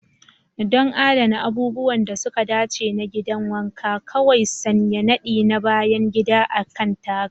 Don adana abubuwan da suka dace na gidan wanka, kawai sanya nadi na bayan gida a kan taragar.